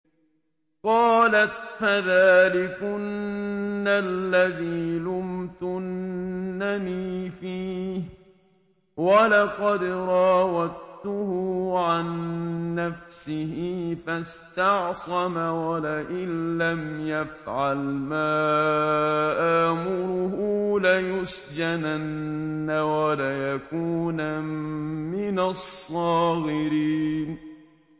قَالَتْ فَذَٰلِكُنَّ الَّذِي لُمْتُنَّنِي فِيهِ ۖ وَلَقَدْ رَاوَدتُّهُ عَن نَّفْسِهِ فَاسْتَعْصَمَ ۖ وَلَئِن لَّمْ يَفْعَلْ مَا آمُرُهُ لَيُسْجَنَنَّ وَلَيَكُونًا مِّنَ الصَّاغِرِينَ